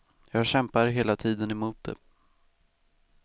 Jag kämpar hela tiden emot det.